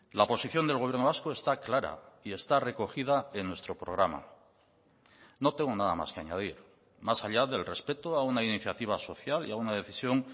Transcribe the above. la posición del gobierno vasco está clara y está recogida en nuestro programa no tengo nada más que añadir más allá del respeto a una iniciativa social y a una decisión